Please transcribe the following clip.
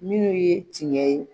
Minnu ye tiɲɛ ye